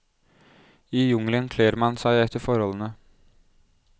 I jungelen kler man seg etter forholdene.